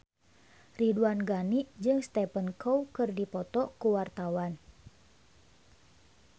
Ridwan Ghani jeung Stephen Chow keur dipoto ku wartawan